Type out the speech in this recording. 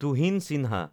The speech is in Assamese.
তুহিন চিহ্ন